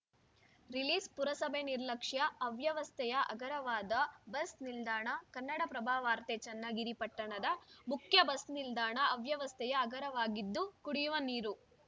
ರಿಲೀಸ್‌ಪುರಸಭೆ ನಿರ್ಲಕ್ಷ್ಯ ಅವ್ಯವಸ್ಥೆಯ ಆಗರವಾದ ಬಸ್‌ ನಿಲ್ದಾಣ ಕನ್ನಡಪ್ರಭವಾರ್ತೆ ಚನ್ನಗಿರಿ ಪಟ್ಟಣದ ಮುಖ್ಯ ಬಸ್‌ ನಿಲ್ದಾಣ ಅವ್ಯವಸ್ಥೆಯ ಆಗರವಾಗಿದ್ದು ಕುಡಿಯುವ ನೀರು